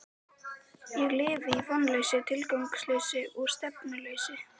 Ég lifði í vonleysi, tilgangsleysi og stefnuleysi.